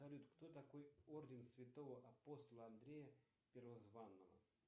салют кто такой орден святого апостола андрея первозванного